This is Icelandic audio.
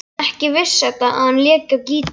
Ekki vissi Edda að hann léki á gítar.